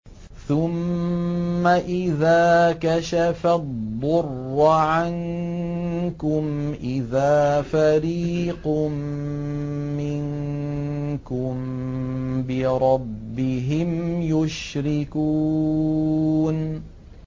ثُمَّ إِذَا كَشَفَ الضُّرَّ عَنكُمْ إِذَا فَرِيقٌ مِّنكُم بِرَبِّهِمْ يُشْرِكُونَ